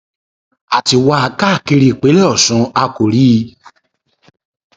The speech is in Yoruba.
a ti wá a káàkiri ìpínlẹ ọṣun a kò rí i